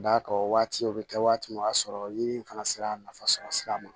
D'a ka o waati o bɛ kɛ waati min o y'a sɔrɔ ɲimi fana sera nafa sɔrɔ sira ma